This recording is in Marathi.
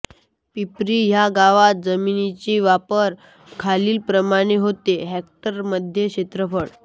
पिंपरी ह्या गावात जमिनीचा वापर खालीलप्रमाणे होतो हेक्टरमध्ये क्षेत्रफळ